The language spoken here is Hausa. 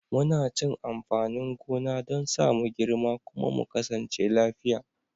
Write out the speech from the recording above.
Muna cin amfanin gona don sa mu girma kuma mu kasance lafiya.